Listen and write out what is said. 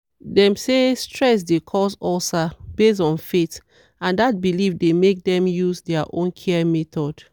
dem say stress dey cause ulcer based on faith and dat belief dey make dem use their own care method.